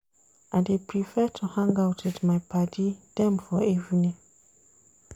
I dey prefer to hang out wit my paddy dem for evening.